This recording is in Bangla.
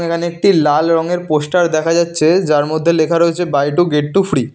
এখানে একটি লাল রঙের পোস্টার দেখা যাচ্ছে যার মধ্যে লেখা রয়েছে buy two get two free.